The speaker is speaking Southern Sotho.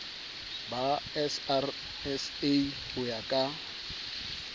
ba srsa ho ya ka